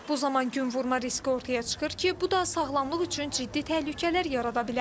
Bu zaman günvurma riski ortaya çıxır ki, bu da sağlamlıq üçün ciddi təhlükələr yarada bilər.